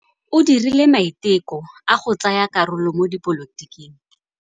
O dirile maitekô a go tsaya karolo mo dipolotiking.